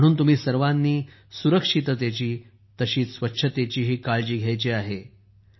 म्हणून तुम्ही सर्वानी सुरक्षिततेची आणि स्वच्छतेचीही काळजी घ्यायची आहे